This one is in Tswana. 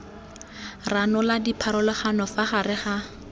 ranola dipharologano fa gare ga